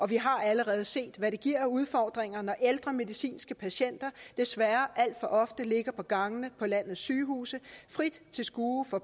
vi har allerede set hvad det giver af udfordringer når ældre medicinske patienter desværre alt for ofte ligger på gangene på landets sygehuse frit til skue for